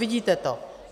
Vidíte to.